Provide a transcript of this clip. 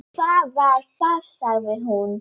Hvað var það? sagði hún.